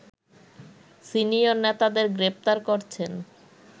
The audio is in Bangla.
সিনিয়র নেতাদের গ্রেপ্তার করছেন